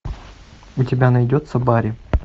у тебя найдется барри